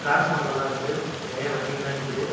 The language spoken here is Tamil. டிரான்ஸ்பார்மலா இருக்கு நறைய வண்டிகளா நிக்கிது.